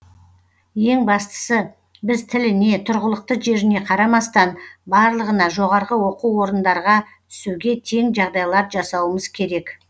ең бастысы біз тіліне тұрғылықты жеріне қарамастан барлығына жоғарғы оқу орындарға түсуге тең жағдайлар жасауымыз керек